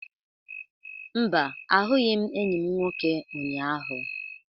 Mba, ahụghị m enyi m nwoke ụnyahụ.